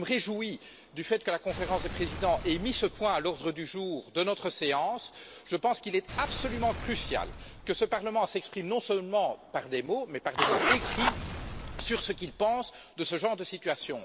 Je me réjouis du fait que la Conférence des présidents ait mis ce point à l'ordre du jour de notre séance et je pense qu'il est absolument crucial que ce Parlement s'exprime non seulement par des mots, mais aussi par des mots écrits, sur ce qu'il pense de ce genre de situation.